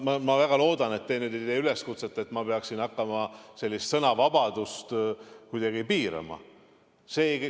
Ma väga loodan, et te nüüd ei tee üleskutset, et ma peaksin hakkama sõnavabadust kuidagi piirama.